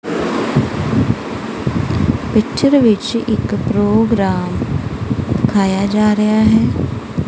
Picture ਵਿੱਚ ਇੱਕ programme ਦਿਖਾਯਾ ਜਾ ਰਿਹਾ ਹੈ।